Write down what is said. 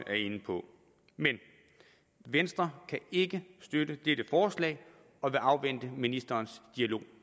er inde på men venstre kan ikke støtte dette forslag og vil afvente ministerens dialog